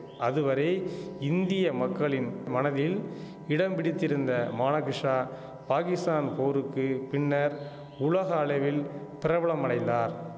அதுவரை இந்திய மக்களின் மனதில் இடம் பிடித்திருந்த மானகிஷா பாகிஸ்தான் போருக்கு பின்னர் உலக அளவில் பிரபலமடைந்தார்